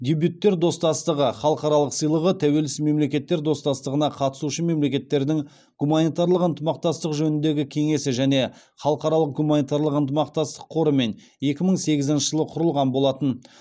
дебюттер достастығы халықаралық сыйлығы тәуелсіз мемлекеттер достастығына қатысушы мемлекеттердің гуманитарлық ынтымақтастық жөніндегі кеңесі және халықаралық гуманитарлық ынтымақтастық қорымен екі мың сегізінші жылы құрылған болатын